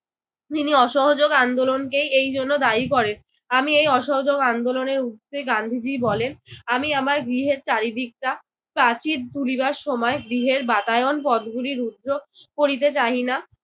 তিনি অসহযোগ আন্দোলনকেই এইজন্য দায়ী করেন। আমি এই অসহযোগ আন্দোলনের ঊর্ধ্বে। গান্ধীজি বলেন, আমি আমার গৃহের চারদিকটা প্রাচীর তুলিবার সময় গৃহের বাতায়ন পদ্গুলি রুদ্ধ করিতে চাহি না।